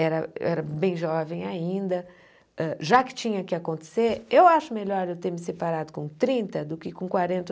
Era era bem jovem ainda, hã já que tinha que acontecer, eu acho melhor eu ter me separado com trinta do que com quarenta ou